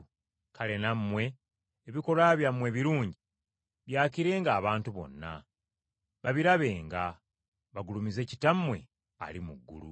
Kale nammwe ebikolwa byammwe ebirungi byakirenga abantu bonna, babirabenga, bagulumize Kitammwe ali mu ggulu.